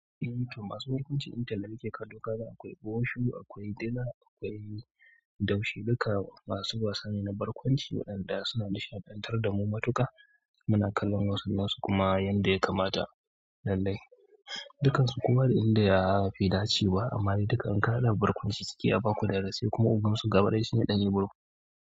Eh to masu barkwanci intanet da nake kallo kaga akwai Busho, akwai Dila akwai Daushe duka masu wasa ne na barkwanci waɗanda suna nishaɗantar da mu matuka muna kallon wasu nasu kuma yanda ya kamata lallai dukansu kowaa da inda yafi dacewa amma duka in ka haɗa barkwanci suke a baku darasi, kuma ogansu gaba ɗaya shine ɗan Ibro.